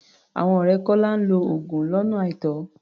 Àwọn ọ̀rẹ́ Kọ́lá ń lo oògùn lọ́nà àìtọ́.